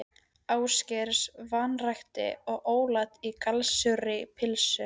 Ásgeirs, vanrækt og óæt í gallsúrri pylsunni.